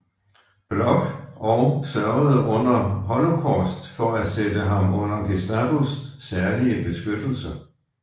Bloch og sørgede under holocaust for at sætte ham under Gestapos særlige beskyttelse